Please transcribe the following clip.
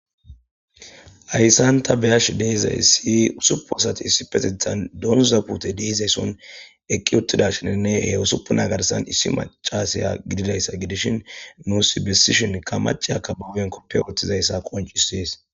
Ayssanta beyash deizaysi usupu asati issi petithan doonzapute deizayson eqqi uttidasheninne he usupu nagarsan issi macasiya gididayssa gidishin nuus bessishin ka maci akka bawen koppe ooththizayssa qoncisees